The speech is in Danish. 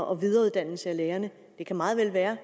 og videreuddannelse af lærerne kan meget vel være